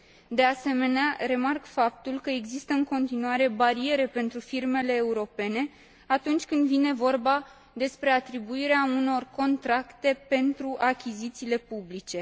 De asemenea, remarc faptul că există în continuare bariere pentru firmele europene atunci când vine vorba despre atribuirea unor contracte pentru achizițiile publice.